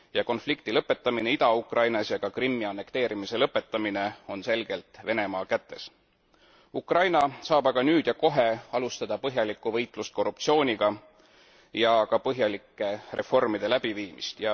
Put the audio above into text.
Konflikti lõpetamine Ida Ukrainas ja ka Krimmi annekteerimise lõpetamine on selgelt Venemaa kätes. Ukraina saab aga nüüd ja kohe alustada põhjalikku võitlust korruptsiooniga ja ka põhjalike reformide läbiviimist.